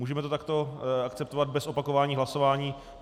Můžeme to takto akceptovat bez opakování hlasování?